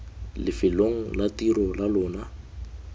lefelong la tiro la lona